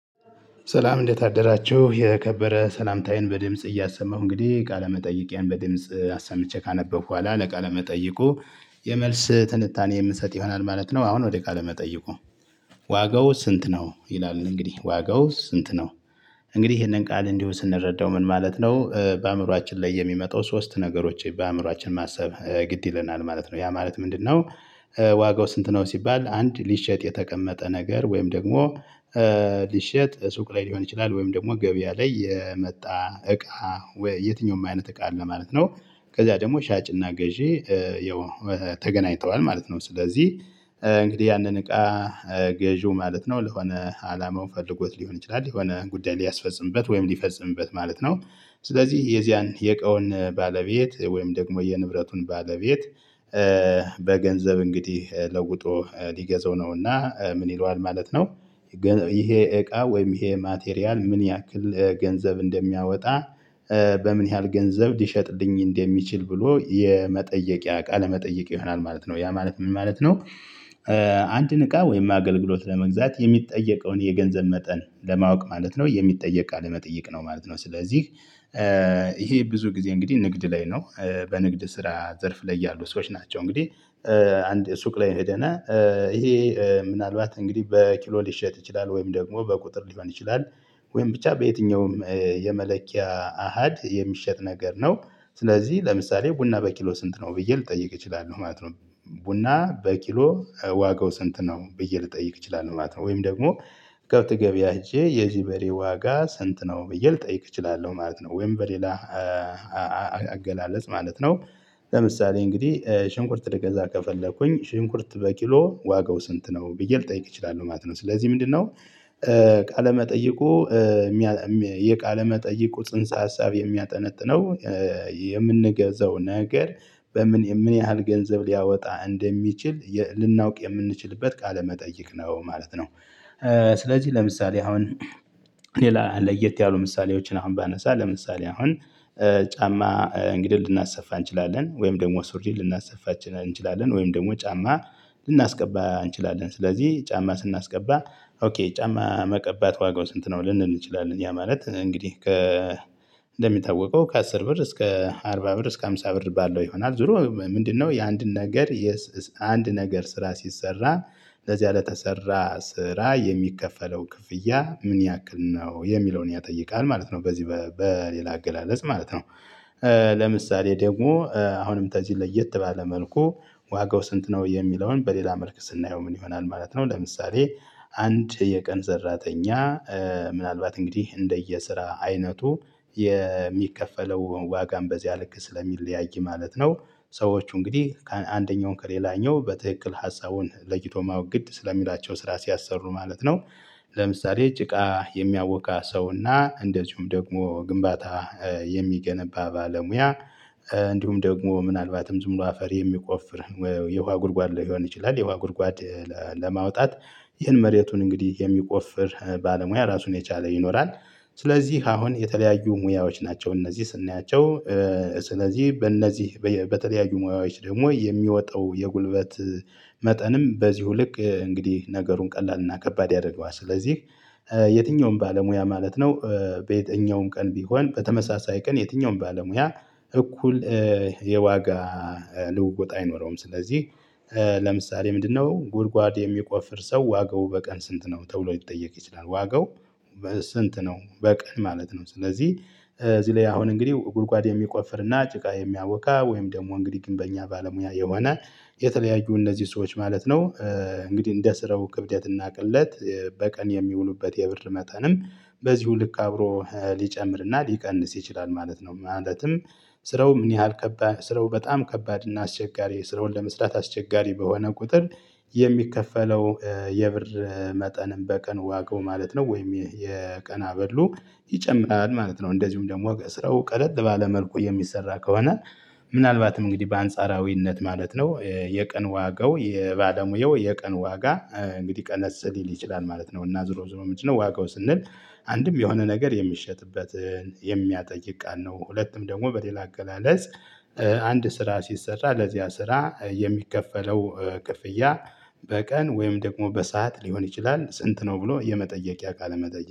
ሰላም እንዴት አደራችሁ የከበረ ሰላምታዬን በድምጽ እያሰማሁ እንግዲህ ቃለመጠየቂያን በድምጽ አሰምቼ ካነበብኩ ኋላ ለቃለ መጠይቁ የመልስ ትንታኔ የምሰጥ ይሆናል ማለት ነው። አሁን ወደ ቃለ መጠይቁ? ዋጋው ስንት ነው ይላል እንግዲህ ዋጋው ስንት ነው? እንግዲህ ይሄንን ቃል እንዲሁ ስንረዳው ምን ማለት ነው? በአእምሮአችን ላይ የሚመጣው ሶስት ነገሮች በአእምሮአችን ማሰብ ግድ ይለናል ማለት ነው። ያ ማለት ምንድነው? ዋጋው ስንት ነው ሲባል አንድ ሊሸጥ የተቀመጠ ነገር ወይም ደግሞ ሊሸጥ ሱቅ ላይ ሊሆን ይችላል ወይም ደግሞ ገበያ ላይ የመጣ እቃ የትኛውም አይነት እቃ አለ ማለት ነው። ከዛ ደግሞ ሻጭና ገዢ ያው ተገናኝተዋል ማለት ነው። ስለዚህ እንግዲህ ያንን እቃ ገዢው ማለት ነው ለሆነ አላማው ፈልጎት ሊሆን ይችላል የሆነ ጉዳይ ሊያስፈጽምበት ወይም ሊፈጽምበት ማለት ነው። ስለዚህ የዚያን የእቃውን ባለቤት ወይም ደግሞ የንብረቱን ባለቤት በገንዘብ እንግዲህ ለውጦ ሊገዛው ነውና ምን ይለዋል ማለት ነው። ይሄ እቃ ወይም ይሄ ማቴሪያል ምን ያክል ገንዘብ እንደሚያወጣ? በምን ያህል ገንዘብ ሊሸጥልኝ እንደሚችል ብሎ የመጠየቂያ ቃለ መጠየቅ ይሆናል ማለት ነው። ያ ማለት ምን ማለት ነው? አንድን እቃ ወይም አገልግሎት ለመግዛት የሚጠየቀውን የገንዘብ መጠን ለማወቅ ማለት ነው የሚጠየቅ ቃለመጠየቅ ነው ማለት ነው። ስለዚህ ይሄ ብዙ ጊዜ እንግዲህ ንግድ ላይ ነው። በንግድ ስራ ዘርፍ ላይ ያሉ ሰዎች ናቸው እንግዲህ። አንድ ሱቅ ላይ ሄደና ይሄ ምናልባት እንግዲህ በኪሎ ሊሸጥ ይችላል ወይም ደግሞ በቁጥር ሊሆን ይችላል። ወይም ብቻ በየትኛውም የመለኪያ አሃድ የሚሸጥ ነገር ነው። ስለዚህ ለምሳሌ ቡና በኪሎ ስንት ነው ብዬ ልጠይቅ እችላለሁ ማለት ነው። ቡና በኪሎ ዋጋው ስንት ነው ብዬ ልጠይቅ እችላለሁ ማለት ነው። ወይም ደግሞ ከብት ገብያ ሄጄ የዚህ በሬ ዋጋ ስንት ነው ብዬ ልጠይቅ እችላለሁ ማለት ነው። ወይም በሌላ አገላለጽ ማለት ነው። ለምሳሌ እንግዲህ ሽንኩርት ልገዛ ከፈለኩኝ ሽንኩርት በኪሎ ዋጋው ስንት ነው ብዬ ልጠይቅ እችላለሁ ማለት ነው። ስለዚህ ምንድነው? ቃለመጠየቁ የቃለ መጠይቁ ጽንሰ ሀሳብ የሚያጠነጥነው የምንገዛው ነገር በምን የምን ያህል ገንዘብ ሊያወጣ እንደሚችል ልናውቅ የምንችልበት ቃለመጠይቅ ነው ማለት ነው። ስለዚህ ለምሳሌ አሁን ሌላ ለየት ያሉ ምሳሌዎችን አሁን ባነሳ ለምሳሌ አሁን ጫማ እንግዲህ ልናሰፋ እንችላለን ወይም ደግሞ ሱሪ ልናሰፋ እንችላለን ወይም ደግሞ ጫማ ልናስቀባ እንችላለን። ስለዚህ ጫማ ስናስቀባ ኦኬ ጫማ መቀባት ዋጋው ስንት ነው? ልንል እንችላለን ያ ማለት እንግዲህ። እንደሚታወቀው ከአስር ብር እስከ አርባ ብር እስከ አሞሳ ብር ባለው ይሆናል ዙሮ ምንድነው? የአንድን ነገር አንድ ነገር ስራ ሲሰራ ለዚያ ለተሰራ ስራ የሚከፈለው ክፍያ ምን ያክል ነው የሚለውን ያጠይቃል ማለት ነው። በዚህ በሌላ አገላለጽ ማለት ነው። ለምሳሌ ደግሞ አሁንም ተዚ ለየት ባለ መልኩ ዋጋው ስንት ነው የሚለውን በሌላ መልክ ስናየው ምን ይሆናል? ማለት ነው። ለምሳሌ አንድ የቀን ሰራተኛ ምናልባት እንግዲህ እንደየስራ አይነቱ የሚከፈለው ዋጋም በዚያ ልክ ስለሚለያይ ማለት ነው። ሰዎች እንግዲህ አንደኛውን ከሌላኛው በትክክል ሀሳቡን ለይቶ ማወቅ ግድ ስለሚላቸው ስራ ሲያሰሩ ማለት ነው። ለምሳሌ ጭቃ የሚያቦካ ሰው እና እንደዚሁም ደግሞ ግንባታ የሚገነባ ባለሙያ እንዲሁም ደግሞ ምናልባትም ዝም ብሎ አፈር የሚቆፍር የውሃ ጉድጓድ ሊሆን ይችላል የውሃ ጉድጓድ ለማውጣት ይህን መሬቱን እንግዲህ የሚቆፍር ባለሙያ ራሱን የቻለ ይኖራል። ስለዚህ አሁን የተለያዩ ሙያዎች ናቸው። እነዚህ ስናያቸው ስለዚህ በእነዚህ በተለያዩ ሙያዎች ደግሞ የሚወጣው የጉልበት መጠንም በዚሁ ልክ እንግዲህ ነገሩን ቀላልና ከባድ ያደረገዋል። ስለዚህ የትኛውም ባለሙያ ማለት ነው። በየትኛውም ቀን ቢሆን በተመሳሳይ ቀን የትኛውም ባለሙያ እኩል የዋጋ ልውውጥ አይኖረውም። ስለዚህ ለምሳሌ ምንድነው ጉድጓድ የሚቆፍር ሰው ዋጋው በቀን ስንት ነው? ተብሎ ይጠየቅ ይችላል ዋጋው በስንት ነው በቀን ማለት ነው። ስለዚህ እዚህ ላይ አሁን እንግዲህ ጉድጓድ የሚቆፍርና ጭቃ የሚያቦካ ወይም ደግሞ እንግዲህ ግንበኛ ባለሙያ ይሆናል የተለያዩ እነዚህ ሰዎች ማለት ነው። እንግዲህ እንደ ስራው ክብደት እና ቅለት በቀን የሚውሉበት የብር መጠንም በዚሁ ልክ አብሮ ሊጨምርና ሊቀንስ ይችላል ማለት ነው። ማለትም ስራው ምን ያህል ስራው በጣም ከባድ እና አስቸጋሪ ስራውን ለመስራት አስቸጋሪ በሆነ ቁጥር የሚከፈለው የብር መጠንም በቀን ዋጋው ማለት ነው። ወይም የቀን አበሉ ይጨምራል ማለት ነው። እንደዚሁም ደግሞ ከስራው ቀለል ባለ መልኩ የሚሰራ ከሆነ ምናልባትም እንግዲህ በአንጻራዊነት ማለት ነው የቀን ዋጋው የባለሙያው የቀን ዋጋ እንግዲህ ቀነስ ሊል ይችላል ማለት ነው። እና ዝሮ ዝሮ ምንድነው? ዋጋው ስንል አንድም የሆነ ነገር የሚሸጥበትን የሚያጠይቅ ቃል ነው። ሁለቱም ደግሞ በሌላ አገላለጽ አንድ ስራ ሲሰራ ለዚያ ስራ የሚከፈለው ክፍያ በቀን ወይም ደግሞ በሰአት ሊሆን ይችላል። ስንት ነው ብሎ የመጠየቂያ ቃለ መጠየቅ